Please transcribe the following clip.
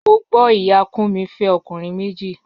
Mo gbo iya Kunmi fe okunrin meji.